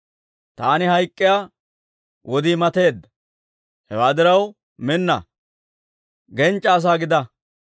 «Taani hayk'k'iyaa wodii mateedda. Hewaa diraw, minna; genchcha asaa gidaa.